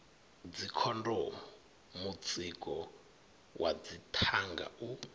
dzikhondomu mutsiko wa dzithanga u